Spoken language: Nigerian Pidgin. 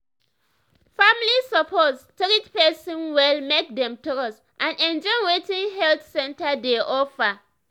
family suppose treat person well make dem trust and enjoy wetin health center dey offer.